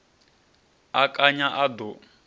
a kanya a ḓa o